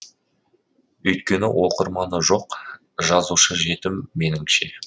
өйткені оқырманы жоқ жазушы жетім меніңше